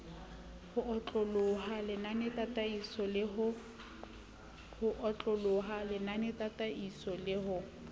ho otloloha lenanetataisong la ho